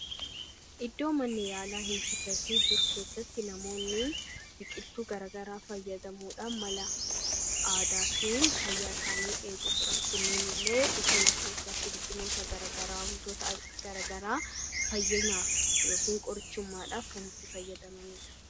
iddoo manni yaalaa hin turre fi dur keessatti namoonni biqiltuu garagaraa fayyadamuudha mala aadaatiin fayyaa isaanii eegu sura kunneen illee busona keessatti biqiloota gargaraa wantoota garagaraa fayyanaaf ykn qorichummaadhaaf kan itti fayyadamanidha.